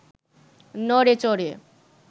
নড়ে চড়ে